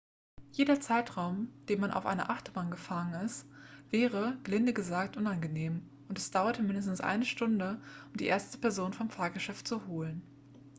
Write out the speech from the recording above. jeder zeitraum den man auf einer achterbahn gefangen ist wäre gelinde gesagt unangenehm und es dauerte mindestens eine stunde um die erste person vom fahrgeschäft zu holen